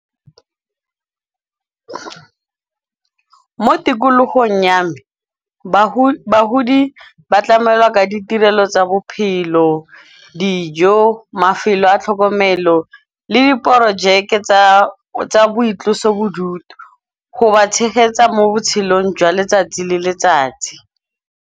Mo tikologong ya me bagudi ba tlamelwa ka ditirelo tsa bophelo, dijo, mafelo a tlhokomelo le diporojeke tsa boitlosobodutu. Go ba tshegetsa mo botshelong jwa letsatsi le letsatsi.